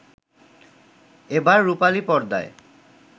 এবার রূপালী পর্দায়